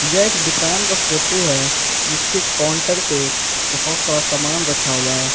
यह एक दुकान का फोटो है उसके काउंटर पे बहुत सारा सामान रखा हुआ है।